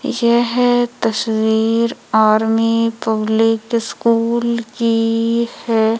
यह तस्वीर army public school की है।